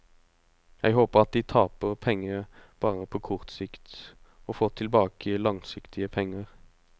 Jeg håper at de taper penger bare på kort sikt, og får tilbake langsiktige penger.